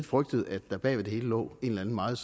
frygtet at der bag ved det hele lå en eller anden meget